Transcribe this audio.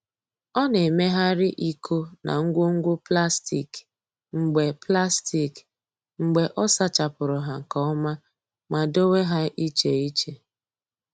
Ọ na-emegharị iko na ngwo ngwo plastik mgbe plastik mgbe ọ sachapụrụ ha nke ọma ma dowe ha iche iche.